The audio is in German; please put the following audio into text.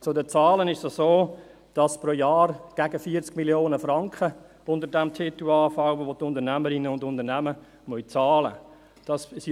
Zu den Zahlen: Pro Jahr fallen gegen 40 Mio. Franken unter diesem Titel an, welche die Unternehmerinnen und Unternehmer bezahlen müssen.